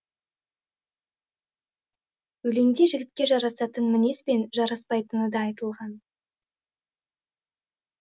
өлеңде жігітке жарасатын мінез бен жараспайтыны да айтылған